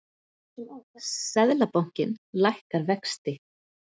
Seðlabankinn lækkar vexti